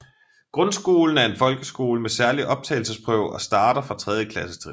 Grundskolen er en folkeskole med særlig optagelsesprøve og starter fra tredje klassetrin